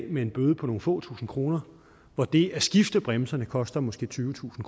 med en bøde på nogle få tusind kroner og det at skifte bremserne koster måske tyvetusind